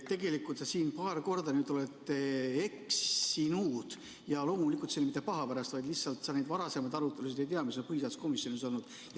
Tegelikult sa siin paar korda oled eksinud ja loomulikult mitte paha pärast, vaid lihtsalt sa ei tea neid varasemaid arutelusid, mis põhiseaduskomisjonis on olnud.